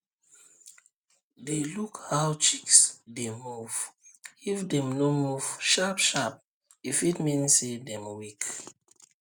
dey look how chicks dey move if dem no move sharpsharp e fit mean say dem weak